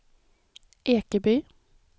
Ekeby